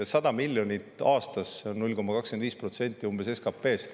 100 miljonit eurot aastas on umbes 0,25% SKP-st.